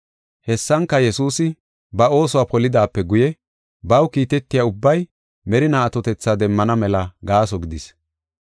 Hessanka, Yesuusi ba oosuwa polidaape guye baw kiitetiya ubbay merinaa atotetha demmana mela gaaso gidis.